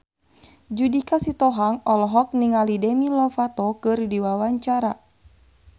Judika Sitohang olohok ningali Demi Lovato keur diwawancara